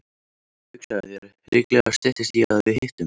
Hugsaðu þér, líklega styttist í að við hittumst.